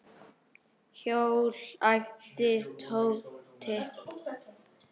Hjól? æpti Tóti.